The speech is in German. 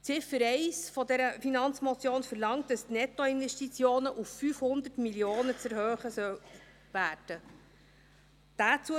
Ziffer 1 dieser Finanzmotion verlangt, dass die Nettoinvestitionen auf 500 Mio. Franken erhöht werden sollen.